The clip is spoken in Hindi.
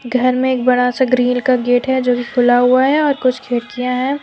घर में एक बड़ा सा ग्रिल का गेट है जोकि खुला हुआ है और कुछ खिड़कियां है।